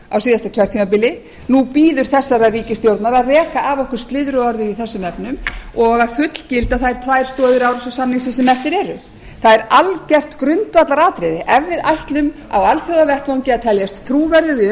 á síðasta kjörtímabili nú bíður þessarar ríkisstjórnar að reka af okkur slyðruorðið í þessum efnum og að fullgilda þær tvær stoðir árósasamningsins sem eftir eru það er algjört grundvallaratriði ef við ætlum á alþjóðavettvangi að teljast trúverðug í